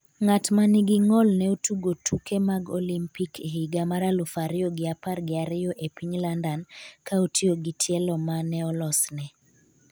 ng’at ma nigi ng'ol ne otugo tuke mag Olimpik e higa mar aluf ariyo gi apar gi ariyo e piny London ka otiyo gi tielo ma ne olos ne